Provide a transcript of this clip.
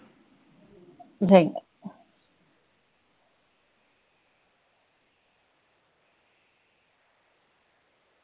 ਨਹੀਂ